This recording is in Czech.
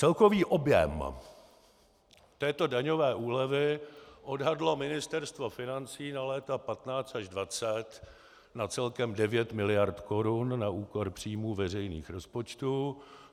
Celkový objem této daňové úlevy odhadlo Ministerstvo financí na léta 2015 až 2020 na celkem 9 miliard korun na úkor příjmů veřejných rozpočtů.